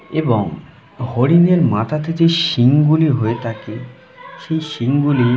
এবং হরিণের মাথা থে যে শিং গুলি হয়ে থাকে সেই শিং গুলি--